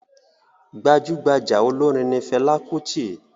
Gbajugbaja olorin ni Fẹla Kuti.